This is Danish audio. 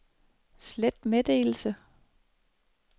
slet meddelelse